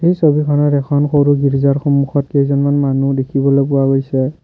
এই ছবিখনত এখন সৰু গীৰ্জাৰ সন্মুখত কেইজনমান মানুহ দেখিবলৈ পোৱা গৈছে।